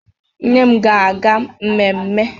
Nne m ga-aga ememe.